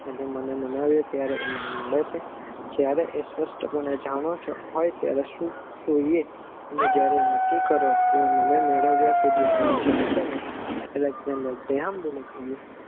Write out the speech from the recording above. અને મને મનાવે ત્યારે એ મને મળે છે જયારે એ સ્વસ્તપણે જાણે છે હોય ત્યારે સુ જોઈએ જયારે નક્કી કરો કે મને મેળવીયા સુધી તમે જમશો નહિ અલેક્ષ ઝેન્ડેર ગ્રેહમ બેલએ કહ્યું છે.